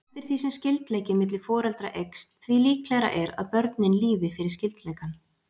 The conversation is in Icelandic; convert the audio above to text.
Eftir því sem skyldleiki milli foreldra eykst því líklegra er að börnin líði fyrir skyldleikann.